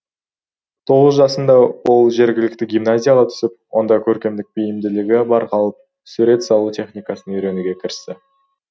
жасында ол жергілікті гимназияға түсіп онда көркемдік бейімділігі байқалып сурет салу техникасын үйренуге кірісті